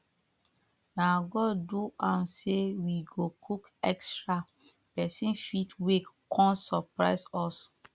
na god do am say we go cook extra person fit wake come surprise us